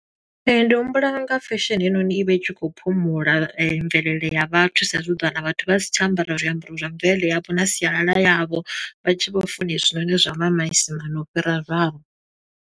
Ee, ndi humbula unga fesheni heinoni i vha i tshi khou phumula mvelele ya vhathu. Sa i zwi u ḓo wana vhathu vha si tsha ambara zwiambaro zwa mvelele yavho, na sialala yavho. Vha tshi vho funa hezwinoni zwa ma maisimani u fhira zwavho.